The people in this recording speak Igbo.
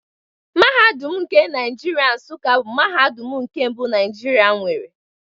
Mahadum nke Naijiria Nsuka bụ mahadum nke mbụ Naijiria nwere